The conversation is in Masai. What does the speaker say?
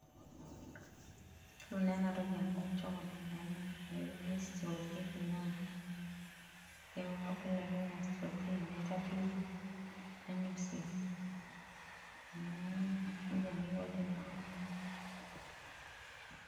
Yiolol naa ena amu chocolate naa ena netii ena toki naji strawberry naitadoki nainosie amu nejia eikoni tenenya.